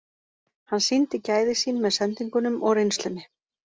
Hann sýndi gæði sín með sendingunum og reynslunni.